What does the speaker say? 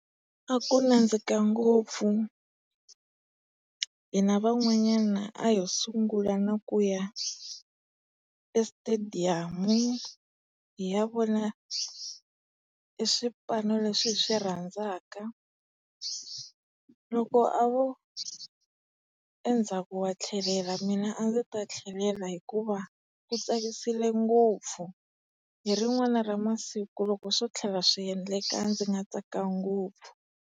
A ku nandzika ngopfu, hina van'wanyana a ho sungula na ku ya esitediyamu hi ya vona e swipano leswi hi swi rhandzaka. Loko a vo endzhaku wa tlhelela mina a ndzi ta tlhelela hikuva ku tsakisile ngopfu. Hi rin'wani ra masiku loko swo tlhela swi endleka ndzi nga tsaka ngopfu.